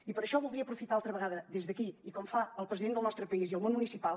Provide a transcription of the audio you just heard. i per això voldria aprofitar altra vegada des d’aquí i com fan el president del nostre país i el món municipal